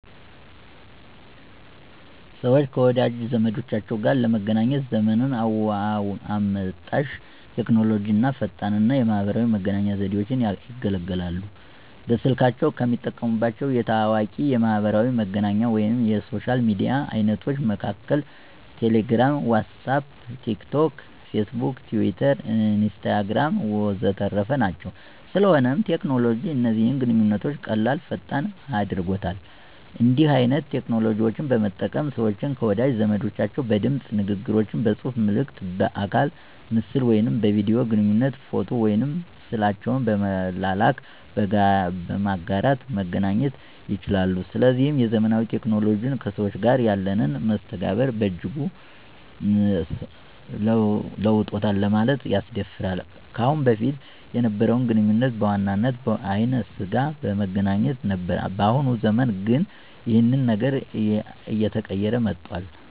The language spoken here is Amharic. ሰወች ከወዳጅ ዘመዶቻቸው ጋር ለመገናኘት ዘመን አመጣሽ ቴክኖሎጂ አና ፈጣን የማህበራዊ መገናኛ ዘዴወችን ይገለገላሉ። በስልካቸው ከሚጠቀሙባቸው ታዋቂ የማሕበራዊ መገናኛ ወይም የሶሻል ሚዲያ አይነቶች መሀከል ቴሌግራም፣ ዋትስአፕ፣ ቲክ ቶክ፣ ፌስቡክ፣ ቲዊተር፣ ኢንስታግራም ወዘተረፈ ናቸው። ስለሆነም ቴክኖሎጂ እነዚህን ግንኙነቶች ቀላል፥ ፈጣን አድርጎታል። እንዲህን አይነት ቴክኖሎጂዎች በመጠቀም ሰወች ከወዳጅ ዘመዶቻቸው በድምጽ ንግግሮች፥ በጽሁፋ መልክት፥ በአካለ ምስል ወይም በቪዲዮ ግንኙነት፥ ፎቶ ወይም ስዕላቸውን በመላላክ፣ በማጋራት መገናኘት ይቻላሉ። ስለዚህም የዘመናዊ ቴክኖሎጂዎች ከሰዎች ጋር ያለንን መስተጋብር በእጅጉ ለውጦታል ለማለት ያስደፍራል። ከአሁን በፊት የነበረው ግንኙነት በዋናነት በአይነ ስጋ በመገናኘት ነበር በአሁኑ ዘመን ግን ይኸን ነገር አየተቀየረ መጧል።